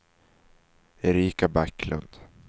Erika Backlund